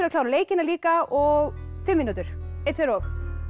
klára leikina líka og fimm mínútur einn tveir og